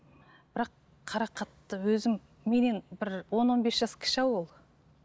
бірақ қарақатты өзім менен бір он он бес жас кіші ау ол